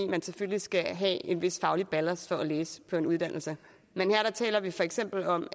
man selvfølgelig skal have en vis faglig ballast for at læse på en uddannelse men her taler vi for eksempel om